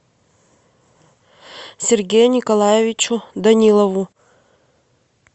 сергею николаевичу данилову